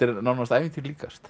nánast ævintýri líkast